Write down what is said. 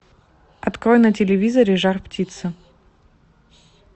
открой на телевизоре жар птица